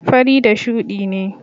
fari da shuɗi ne.